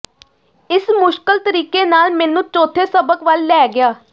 ਇਸ ਮੁਸ਼ਕਲ ਤਰੀਕੇ ਨਾਲ ਮੈਨੂੰ ਚੌਥੇ ਸਬਕ ਵੱਲ ਲੈ ਗਿਆ